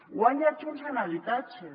guanya junts en habitatge